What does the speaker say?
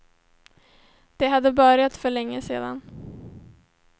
Det hade börjat för länge sedan.